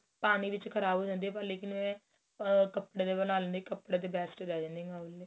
ਪਾਣੀ ਵਿੱਚ ਖਰਾਬ ਹੋ ਜਾਂਦੀ ਏ ਪਰ ਲੇਕਿਨ ਆ ਕਪੜੇ ਬਣਾ ਲੈਂਦੀ ਆ ਕਪੜੇ ਦੇ best ਰਹਿ ਜਾਂਦੀ ਏ